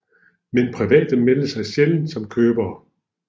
Men private meldte sig sjældent som købere